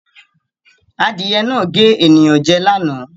Adìẹ náà gé ènìyàn jẹ lánàá.